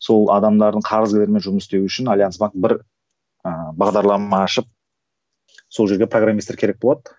сол адамдардың қарызгерлермен жұмыс істеу үшін альянс банк бір ыыы бағдарлама ашып сол жерге программистер керек болады